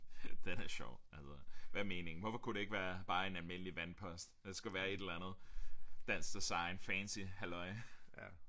Den er sjov altså hvad er meningen hvorfor kunne det ikke være bare en almindelig vandpost der skulle være et eller andet dansk design fancy halløj